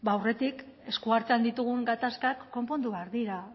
aurretik esku artean ditugun gatazkak konpondu behar dira